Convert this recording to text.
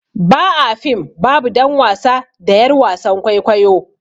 Ba a fim babu dan wasa da yar wasan kwaikwayo.